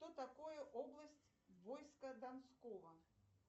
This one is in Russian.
что такое область войска донского